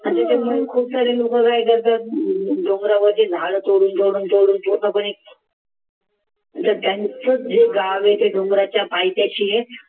डोंगरावरती झाड तोडून ठेवन त्यांचे जे गाव आहे ते डोंगराच्या पायथ्याशी आहे